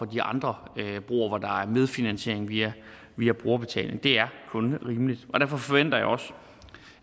de andre broer hvor der er medfinansiering via via brugerbetaling det er kun rimeligt derfor forventer jeg også